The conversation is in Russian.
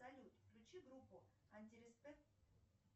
салют включи группу антиреспект